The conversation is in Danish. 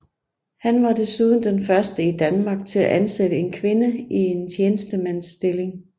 Han var desuden den første i Danmark til at ansætte en kvinde i en tjenestemandsstilling